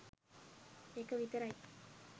එක විතරයි